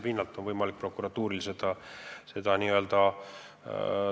Sellelt pinnalt on prokuratuuril võimalik menetlusi alustada.